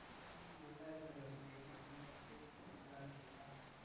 நல்லா இருக்கேன் ரோஷினி. நீங்க எப்படி இருக்கீங்க? நல்லா இருக்கீங்களா?